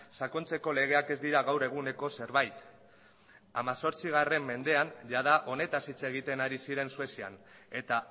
sakontzeko legeak ez dira gaur eguneko zerbait hemezortzi mendean jada honetaz hitz egiten ari ziren suedian eta